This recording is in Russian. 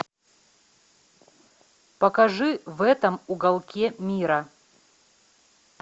покажи в этом уголке мира